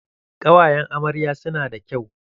Ƙawayan amaryan nan su na da kyau.